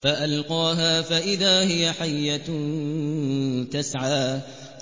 فَأَلْقَاهَا فَإِذَا هِيَ حَيَّةٌ تَسْعَىٰ